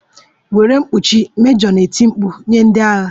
Were mkpuchi! mejọ na-eti mkpu nye ndị agha